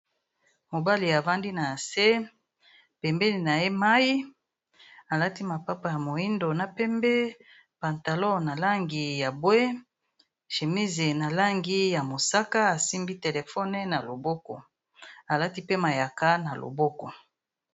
Mobali avandi na nse, pembeni na ye mai, alati mapapa ya moindo na pembe, pantalon na langi ya mbwe, shemise na langi ya mosaka, asimbi telefone na loboko, alati pe mayaka na loboko.